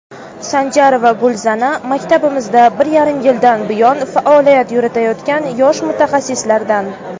Sanjarova Gulzana maktabimizda bir yarim yildan buyon faoliyat yuritayotgan yosh mutaxassislardan.